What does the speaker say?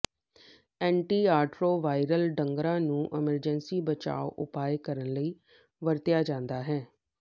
antiretroviral ਡਰੱਗਾਂ ਨੂੰ emergency ਬਚਾਅ ਉਪਾਅ ਕਰਨ ਲਈ ਵਰਤਿਆ ਜਾਂਦਾ ਹੈ